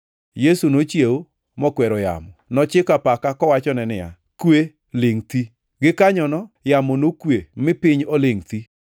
Yesu nochiewo mokwero yamo. Nochiko apaka kowachone niya, “Kwe! Lingʼ thi!” Gikanyono yamo nokwe mi piny olingʼ thi.